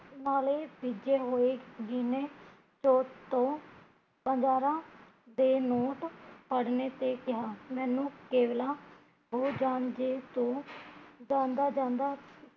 ਨਾਲੇ ਭਿਜੇ ਹੋਏ ਗਿਣੇ ਸੋ ਤੋਂ ਹਜ਼ਾਰਾਂ ਦੇ ਨੋਟ ਤੇ ਕਿਹਾ, ਮੈਂਨੂੰ ਕੇਵਲਾ ਜਾਂਦਾ ਜਾਂਦਾ